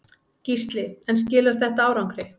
Gísli: En þetta skilar árangri?